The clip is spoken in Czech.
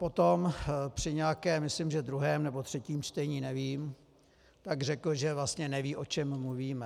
Potom při nějakém, myslím, že druhém nebo třetím čtení, nevím, tak řekl, že vlastně neví, o čem mluvíme.